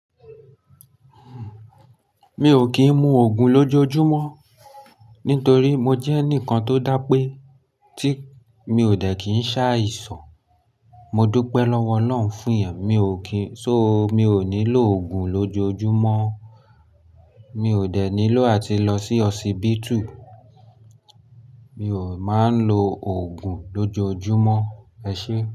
Mi ò kín mú òògùn lójoojúmọ́ nítorí mo jẹ́ ẹnìkan tó dá pé tí mi ò dẹ̀ kín se áìsan, mo dúpẹ́ lọ́wọ́ Ọlọ́run fún iyen. Mi ò kín-- so mi ò nílò òògùn lójoojúmọ́. Mi ò dẹ̀ nílò àti lọ sí hospital. Mi ò máa ń lo òògùn lójoojúmọ́, ẹ ṣé.